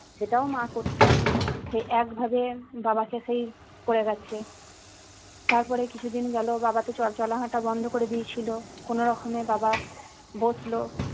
সেটাও মা করতো সে একভাবে বাবাকে সেই করে গেছে তারপরে কিছু দিন গেলো বাবা তো চল চলা হাঁটা বন্ধ করে দিয়েছিলো কোনো রকমে বাবা বসল